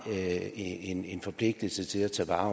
en en forpligtelse til at tage vare